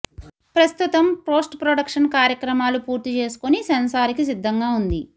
ప్రస్తుతం పోస్ట్ప్రొడక్షన్ కార్యక్రమాలు పూర్తి చేసుకొని సెన్సార్ కి సిద్దంగా ఉంది